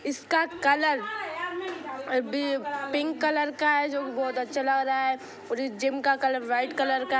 इसका कलर भी pink colour है जो कि बहुत अच्छा लग रहा है| और जिम का कलर व्हाइट कलर है|